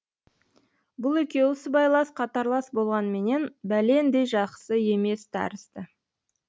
бұл екеуі сыбайлас қатарлас болғанменен бәлендей жақсы емес тәрізді